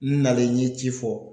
N nalen n ye ci fɔ